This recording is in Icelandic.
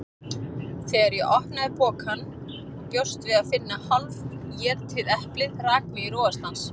Þegar ég opnaði pokann og bjóst við að finna hálfétið eplið rak mig í rogastans.